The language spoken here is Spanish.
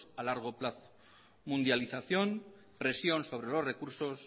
a largo plazo mundialización presión sobre los recursos